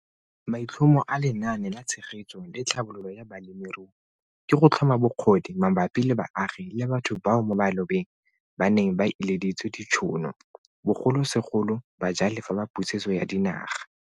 Maitlhomo a Lenaane la Tshegetso le Tlhabololo ya Balemirui ke go tlhoma bokgoni mabapi le baagi le batho bao mo malobeng ba neng ba ileditswe ditšhono, bogolosegolo bajalefa ba Pusetso ya Dinaga.